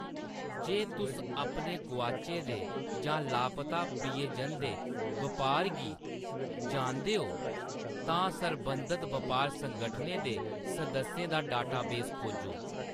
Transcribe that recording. जे तुस अपने गोआचे दे जां लापता प्रियजन दे बपार गी जानदे ओ, तां सरबंधत बपार संगठनें दे सदस्यें दा डेटाबेस खोजो।